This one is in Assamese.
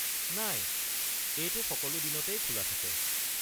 নাই, এইটো সকলো দিনতেই খোলা থাকে।